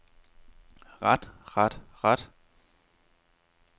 ret ret ret